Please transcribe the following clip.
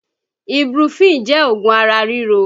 Ibuprofen jẹ́ oògùn ara ríro